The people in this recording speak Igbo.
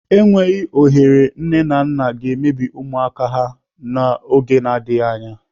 Enweghị ohere nne na nna ga-emebi ụmụaka ha n'oge n'adịghị anya.